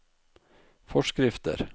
forskrifter